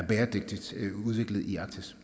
bæredygtigt udviklet i arktis